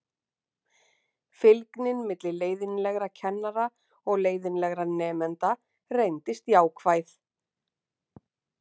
Fylgnin milli leiðinlegra kennara og leiðinlegra nemenda reyndist jákvæð.